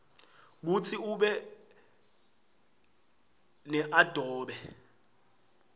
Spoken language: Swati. kutsi ube neadobe